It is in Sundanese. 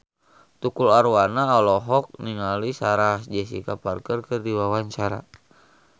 Tukul Arwana olohok ningali Sarah Jessica Parker keur diwawancara